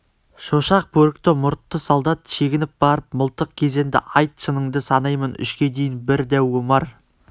шошақ бөрікті мұртты солдат шегініп барып мылтық кезенді айт шыныңды санаймын үшке дейін бір дәу омар